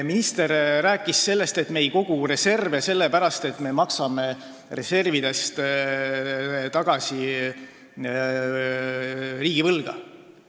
Minister rääkis sellest, et me ei kogu reserve sellepärast, et me maksame reservidest tagasi riigivõlga.